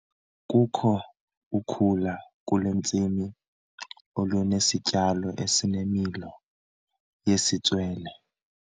Kukho ukhula kule ntsimi olunesityalo esinemilo yesitswele.